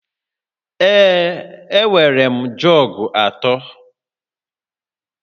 Ee, enwere m jọg atọ